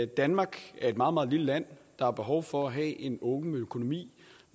danmark er et meget meget lille land der har behov for at have en åben økonomi